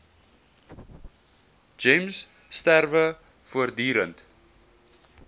gems strewe voortdurend